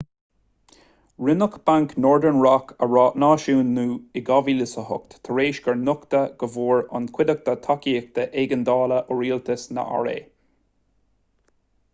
rinneadh banc northern rock a náisiúnú in 2008 tar éis gur nochtadh go bhfuair an chuideachta tacaíocht éigeandála ó rialtas na ra